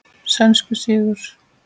Sænskur sigur.